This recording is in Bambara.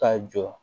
Ka jɔ